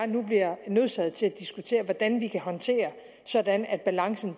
nu bliver nødsaget til at diskutere hvordan vi kan håndtere sådan at balancen